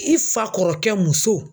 I fa kɔrɔkɛ muso.